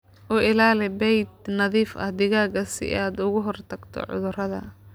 U ilaali bay'ad nadiif ah digaagga si aad uga hortagto cudurrada.